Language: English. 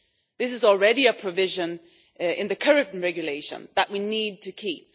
This is already a provision in the current regulation that we need to keep.